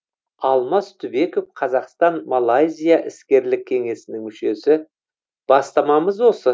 алмас түбеков қазақстан малайзия іскерлік кеңесінің мүшесі бастамамыз осы